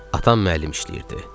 Atam müəllim işləyirdi.